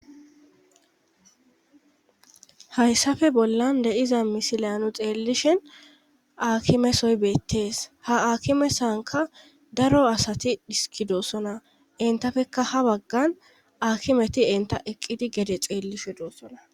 Hayssafe bollan de7iza misilanu xeellishin akimesoy beettees ha akimesanka daro asati dhiskidoossona entafekka ha baggan aakimeti enta eqqidi gede xeellishe doossona.